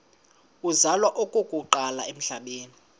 uzalwa okokuqala emhlabeni